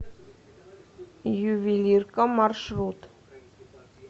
ювелирка маршрут